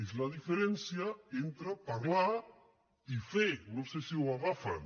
és la diferència entre parlar i fer no sé si ho agafen